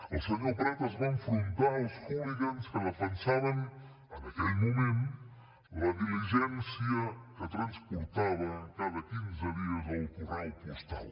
el senyor prat es va enfrontar als hooligans que defensaven en aquell moment la diligència que transportava cada quinze dies el correu postal